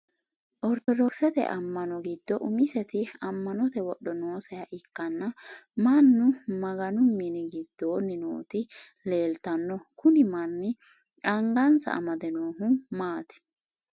Ortodokisete ama'no gido umiseti ama'note wodho nooseha ikanna mannu maganu minni gidoonni nooti leeltano kunni manni angansa amade noohu maati?